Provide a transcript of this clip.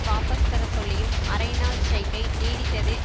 வாபஸ் பெறச்சொல்லியும் அரை நாள் ஸ்டிரைக்கை நீடித்தது